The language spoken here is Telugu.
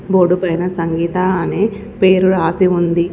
బోర్డు పైన సంగీత అనే పేరు రాసి ఉంది.